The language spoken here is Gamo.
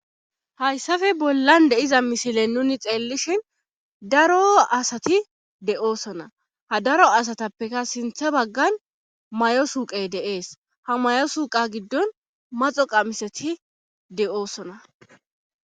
hayssafe bollan de7iza mishilen nuni xeellishin daro asati de7oosona ha daro asatappeka sintha baggan may7o suuqay deees ha may7o suuqa giddon maxo qamiseti de7oosona